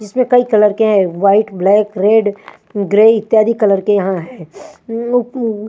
इसमें कई कलर के हैं वाईट ब्लैक रेड उंग ग्रे इत्यादि कलर के यहाँ हैं उम्म उप्प उम्म--